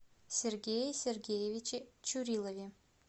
сергее сергеевиче чурилове